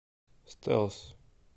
стэлс